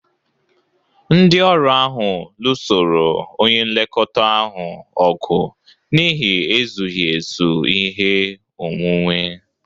Ndị ọrụ ahụ lụsoro onye nlekọta ahụ ọgụ n'ihi ezughị ezu ihe onwunwe